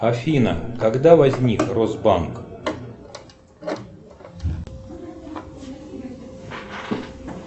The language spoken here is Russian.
афина когда возник росбанк